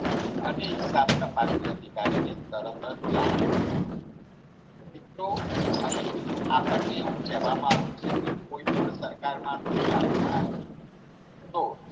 અને હિસાબ તપાસની અધિકારીને તરત જ જાણ કરવી મિત્રો અહીં આપણને એવું કહેવામાં આવ્યું છે કે કોઈ પણ સરકારમા નુકસાન આવે તો